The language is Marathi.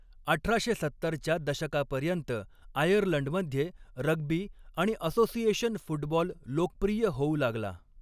अठराशे सत्तरच्या दशकापर्यंत आयर्लंडमध्ये रग्बी आणि असोसिएशन फुटबॉल लोकप्रिय होऊ लागला.